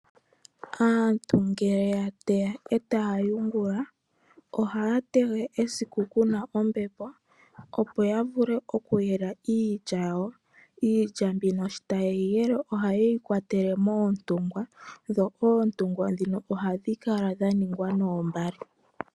Aantu ngele yateya eta yungula ohateya esiku Kuna ombepo opo yavule okuyela iilya yawo, iilya mbino shitayeyile ohayeyi kwatele moontungwa dho oontungwa dhino ohadhi kala dhaningwa noombale.